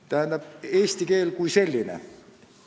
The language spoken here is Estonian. Tähendab, eesti keel kui selline.